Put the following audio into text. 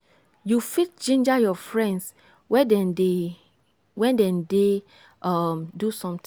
you fit ginger your friends when dem dey when dem dey um do something